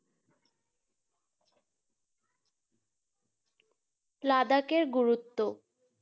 লাদাখের গুরুত্ব